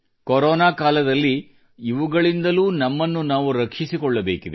corona ಕಾಲದಲ್ಲಿ ಇವುಗಳಿಂದಲೂ ನಮ್ಮನ್ನು ನಾವು ರಕ್ಷಿಸಿಕೊಳ್ಳಬೇಕಿದೆ